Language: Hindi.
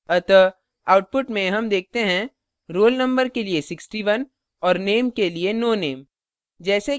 अतः आउटुपट में हम देखते हैं roll number के लिए 61 और name के लिए no name